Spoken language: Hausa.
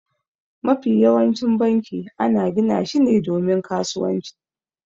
Mafi yawancin banki ana gina shi ne domin kasuwanci.